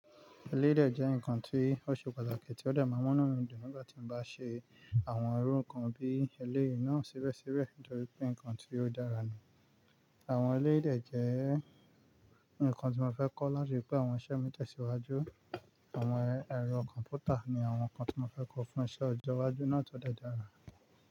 Eleyìí dẹ jẹ́ ǹkan tí ó ṣe pàtàkì tí ó dà máa múnú mi dùn nígbà tí mo bá ṣe àwọn irú ǹkan bí èléyii náà síbẹ̀síbẹ̀ nítorí pé ǹkan tí ó dára ni. Àwọn eleyii dẹ jẹ́ ǹkan tí mo fẹ́ kọ́ láti rí pé àwọn iṣẹ́ mi tẹ̀síwájú. Àwọn ẹ̀rọ kọ̀m̀pútà ní àwọn ǹkan tí mo fẹ́ kọ́ fún iṣẹ́ ọjọ́ iwájú náà tó dẹdára.